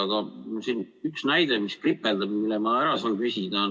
Aga siin on üks näide, mis kripeldab ja mille ma ära saan küsida.